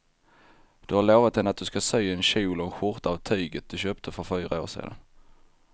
Du har lovat henne att du ska sy en kjol och skjorta av tyget du köpte för fyra år sedan.